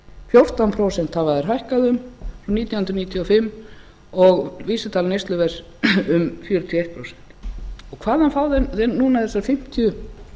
fjórtán prósent hafa þær hækkað frá nítján hundruð níutíu og fimm og vísitala neysluverðs um fjörutíu og eitt prósent hvaðan fá þeir núna þessa fimmtíu